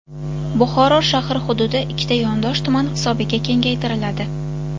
Buxoro shahri hududi ikkita yondosh tuman hisobiga kengaytiriladi.